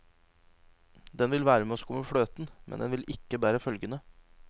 Den vil være med å skumme fløten, men den vil ikke bære følgene.